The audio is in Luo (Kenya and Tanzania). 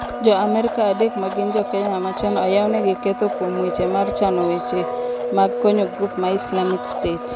Jo Amerka adek ma gin jokenya machon oyaw negi ketho kuom weche mar chano weche mag konyo grup ma Isalmic state